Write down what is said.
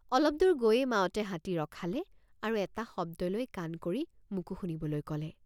অলপদূৰ গৈয়েই মাউতে হাতী ৰখালে আৰু এটা শব্দলৈ কাণ কৰি মোকো শুনিবলৈ কলে।